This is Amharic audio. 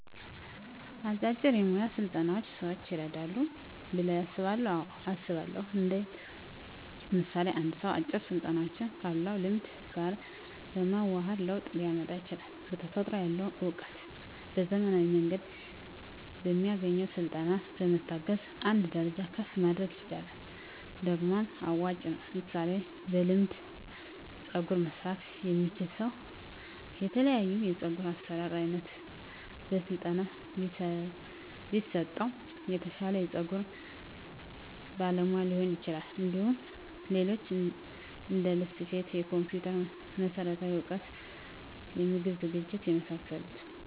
አጫጭር የሞያ ስልጠናዎች ሰዎችን ይረዳሉ ብለው ያስባሉ አዎ አስባለሁ እንዴት ምሳሌ አንድ ሰው አጭር ስልጠናዎችን ካለው ልምድ ጋር በማዋሀድ ለውጥ ሊያመጣ ይችላል በተፈጥሮ ያለውን እውቀት በዘመናዊ መንገድ በሚያገኘው ስልጠና በመታገዝ አንድ ደረጃ ከፍ ማድረግ ይችላል ደግሞም አዋጭ ነው ምሳሌ በልምድ ፀጉር መስራት የሚችል ሰው የተለያዮ የፀጉር አሰራር አይነት በስለጠና ቢሰጠው የተሻለ የፀጉር ባለሙያ ሊሆን ይችላል እንዲሁም ሌሎች እንደልብስ ስፌት የኮምፒተር መሠረታዊ እውቀቶች የምግብ ዝግጅት የመሳሰሉት